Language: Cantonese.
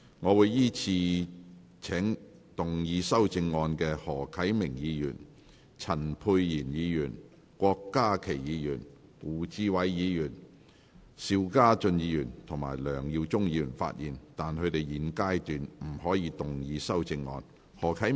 我會依次請要動議修正案的何啟明議員、陳沛然議員、郭家麒議員、胡志偉議員、邵家臻議員及梁耀忠議員發言；但他們在現階段不可動議修正案。